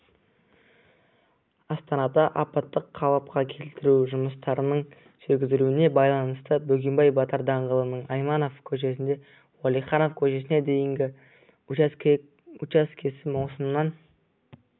астанада апаттық-қалыпқа келтіру жұмыстарының жүргізілуіне байланысты бөгенбай батыр даңғылының айманов көшесінен уәлиханов көшесіне дейінгі участкесі маусымнан